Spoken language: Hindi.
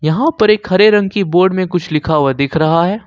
वहां पर एक हरे रंग की बोर्ड में कुछ लिखा हुआ दिख रहा है।